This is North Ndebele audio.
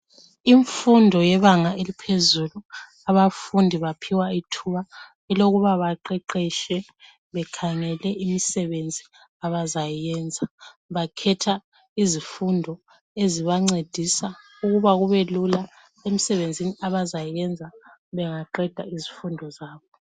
Imfundo yebanga eliphezulu abafundi baphiwa ithuba elokuba baqeqetshe bekhangele imisebenzi abazayiyenza bakhetha izifundo ezibancedisa ukuba kube lula emsebenzini abazayiyenza bengaqeda izifundo zabo.